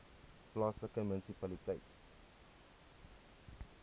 plaaslike munisipaliteit